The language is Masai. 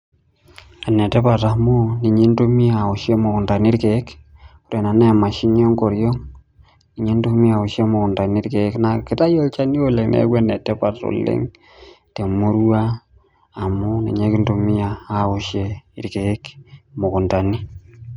Enetipat amu ninye intumia aoshie mukuntani irkiek amu kekutaki olchani oleng ,niaku enetipat oleng temurua amu ninye kintumia irkiek imukuntani.